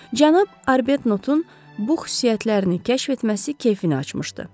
Cənab Arbetnotun bu xüsusiyyətlərini kəşf etməsi keyfini açmışdı.